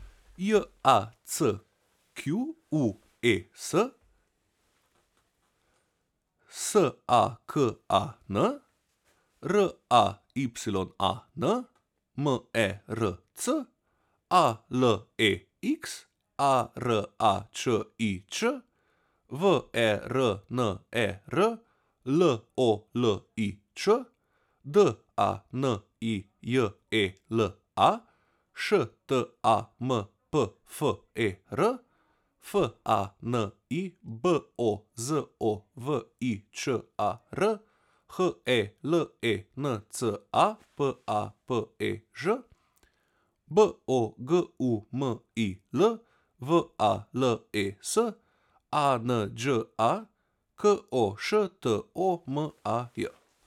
J A C Q U E S, S A K A N; R A Y A N, M E R C; A L E X, A R A Č I Ć; W E R N E R, L O L I Ć; D A N I J E L A, Š T A M P F E R; F A N I, B O Z O V I Č A R; H E L E N C A, P A P E Ž; B O G U M I L, V A L E S; A N Đ A, K O Š T O M A J.